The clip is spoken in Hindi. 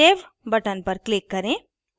save button पर click करें